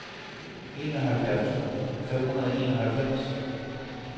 enoghalvfjerds tusind fem hundrede og enoghalvfems